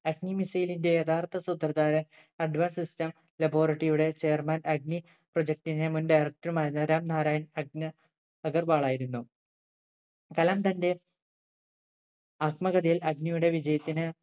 അഗ്നി missile ന്റെ യഥാർത്ഥ സൂത്രധാരൻ Advance system laboratory യുടെ chairman അഗ്നി project ന്റെ മുൻ director മായിരുന്ന രാം നാരായൺ അഗനി അഗർവാൾ ആയിരുന്നു കലാം തന്റെ ആത്മകഥയിൽ അഗ്നിയുടെ വിജയത്തിന്